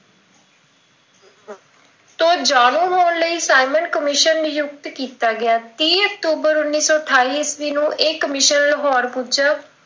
ਤੋਂ ਜਾਣੂ ਹੋਣ ਲਈ ਸਾਈਂਮਨ ਕਮਿਸ਼ਨ ਨਿਯੁਕਤ ਕੀਤਾ ਗਿਆ ਤੀਹ ਅਕਤੂਬਰ ਉੱਨੀ ਸੌ ਅਠਾਈ ਈਸਵੀਂ ਨੂੰ ਲਾਹੌਰ ਪੁੱਜਾ।